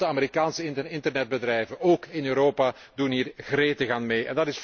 En grote Amerikaanse internetbedrijven, ook in Europa, doen hier gretig aan mee.